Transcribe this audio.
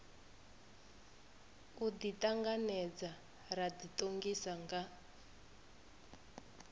u ḓiṱanganedza ra ḓiṱongisa nga